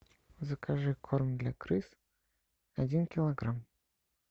закажи корм для крыс один килограмм